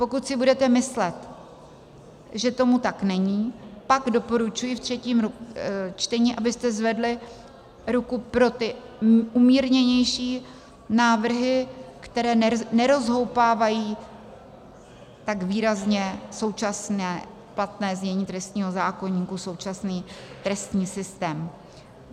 Pokud si budete myslet, že tomu tak není, pak doporučuji ve třetím čtení, abyste zvedli ruku pro ty umírněnější návrhy, které nerozhoupávají tak výrazně současné platné znění trestního zákoníku, současný trestní systém.